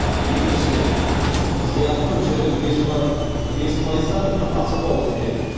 екіншіден сыйақы мөлшері бес пайыздан аспауы керек